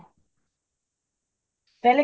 ਪਹਿਲੇ